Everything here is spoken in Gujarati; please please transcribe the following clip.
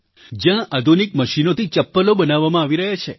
જ્યાં આધુનિક મશીનોથી ચપ્પલો બનાવવામાં આવી રહ્યાં છે